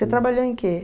Você trabalhou em quê?